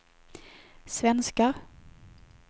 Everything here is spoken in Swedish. svenskar